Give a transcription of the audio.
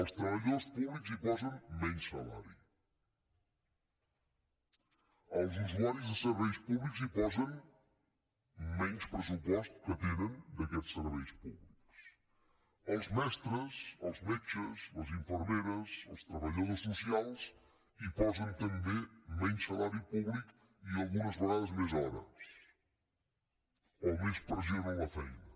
els treballadors públics hi posen menys salari els usuaris de serveis públics hi posen menys pressupost que tenen d’aquests serveis públics els metres els metges les infermeres els treballadors socials hi posen també menys salari públic i algunes vegades més hores o més pressió a la feina